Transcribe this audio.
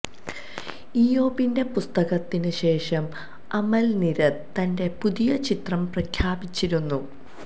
ഇയ്യോബിന്റെ പുസ്തകത്തിന് ശേഷം അമല് നീരദ് തന്റെ പുതിയ ചിത്രം പ്രഖ്യാപിച്ചിരുന്നു